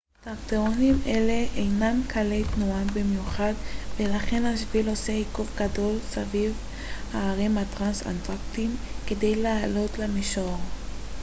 טרקטורים אלה אינם קלי תנועה במיוחד ולכן השביל עושה עיקוף גדול סביב ההרים הטרנס-אנטארקטיים כדי לעלות למישור